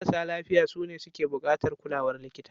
Marasa lafiya sune su ke buƙatar kulawar likita.